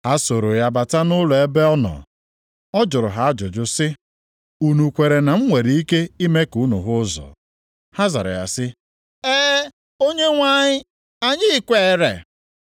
Ha sooro ya bata nʼụlọ ebe ọ nọ. Ọ jụrụ ha ajụjụ sị, “Unu kwere na m nwere ike ime ka unu hụ ụzọ?” Ha zara sị ya, “E, Onyenwe anyị, anyị kweere.”